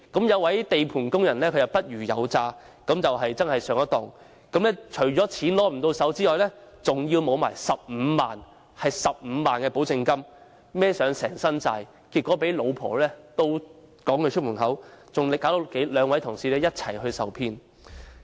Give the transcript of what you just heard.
一名地盤工人不虞有詐上了當，除了不能獲得貸款外，更損失15萬元保證金，負上一身債，結果被妻子逐出家門，亦連累兩位同事一同受騙。